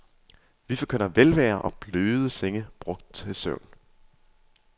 Vi forkynder velvære og bløde senge brugt til søvn.